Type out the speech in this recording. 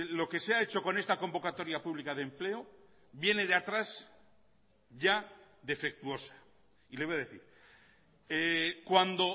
lo que se ha hecho con esta convocatoria pública de empleo viene de atrás ya defectuosa y le voy a decir cuando